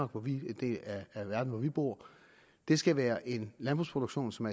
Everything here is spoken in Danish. hvor vi bor det skal være en landbrugsproduktion som